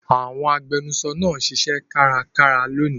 Àwọn agbẹnusọ náà ń ṣiṣẹ́ kárakára lónìí.